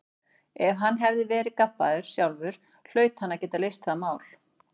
Ef hann hafði verið gabbaður sjálfur hlaut hann að geta leyst það mál.